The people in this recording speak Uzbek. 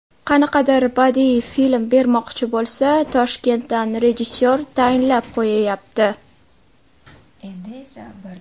Qanaqadir badiiy film bermoqchi bo‘lsa, Toshkentdan rejissyor tayinlab qo‘yayapti!